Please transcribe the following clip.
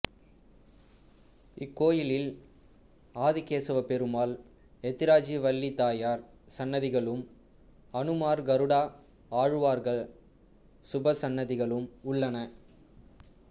இக்கோயிலில் ஆதிகேசவப்பெருமாள் எத்திராஜிவள்ளிதயார் சன்னதிகளும் அனுமார் கருடாஆழ்வார் உபசன்னதிகளும் உள்ளன